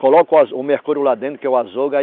Coloca o o mercúrio lá dentro que é o azougue.